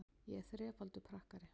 Ég er þrefaldur pakkari.